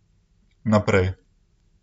Naprej.